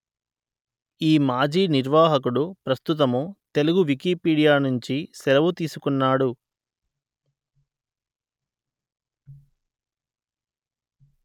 ఈ మాజీ నిర్వాహకుడు ప్రస్తుతము తెలుగు వికీపీడియా నుండి సెలవు తీసుకున్నాడు